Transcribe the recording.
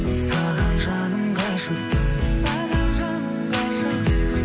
саған жаным ғашықпын саған жаным ғашықпын